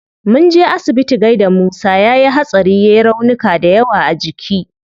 Munje asibiti gaida musa, yayi hatsari yai raunuka dayawa a jiki